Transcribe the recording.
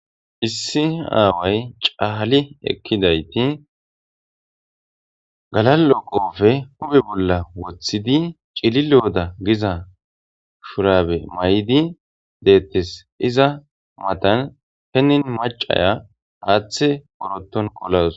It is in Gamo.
issi aaway cahali ekkidayti galaloqofe hume bolla woththidi cililooda giza shurabe may7di deettes iza matan henin macaya haaththe woroton qolas